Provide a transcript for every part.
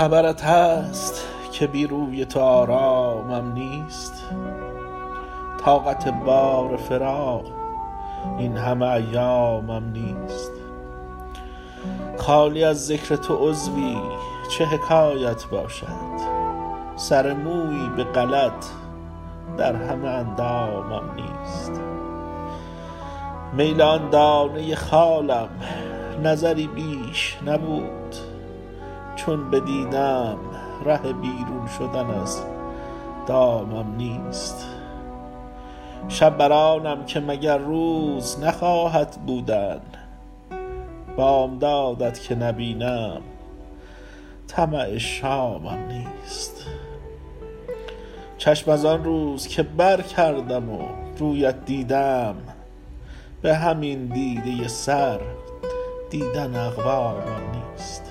خبرت هست که بی روی تو آرامم نیست طاقت بار فراق این همه ایامم نیست خالی از ذکر تو عضوی چه حکایت باشد سر مویی به غلط در همه اندامم نیست میل آن دانه خالم نظری بیش نبود چون بدیدم ره بیرون شدن از دامم نیست شب بر آنم که مگر روز نخواهد بودن بامداد ت که نبینم طمع شامم نیست چشم از آن روز که برکردم و روی ات دیدم به همین دیده سر دیدن اقوامم نیست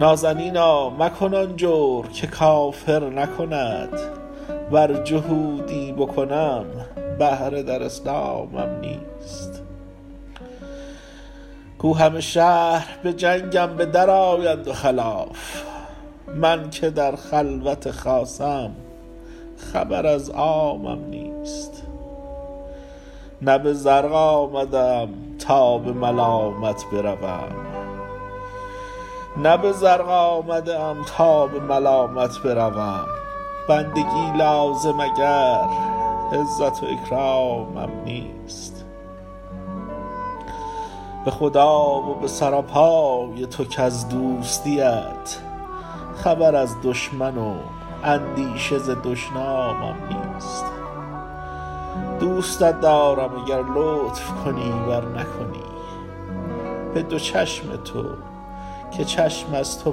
نازنینا مکن آن جور که کافر نکند ور جهودی بکنم بهره در اسلامم نیست گو همه شهر به جنگم به درآیند و خلاف من که در خلوت خاصم خبر از عامم نیست نه به زرق آمده ام تا به ملامت بروم بندگی لازم اگر عزت و اکرامم نیست به خدا و به سراپای تو کز دوستی ات خبر از دشمن و اندیشه ز دشنامم نیست دوستت دارم اگر لطف کنی ور نکنی به دو چشم تو که چشم از تو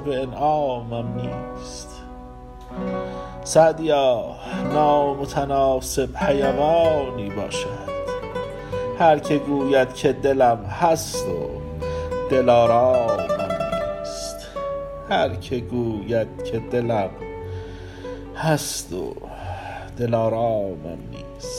به انعامم نیست سعدیا نامتناسب حیوانی باشد هر که گوید که دلم هست و دلآرامم نیست